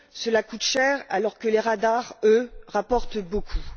Cela coûte cher, alors que les radars, eux, rapportent beaucoup.